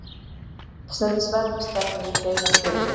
Eldsneytisverð stefnir í hreina sturlun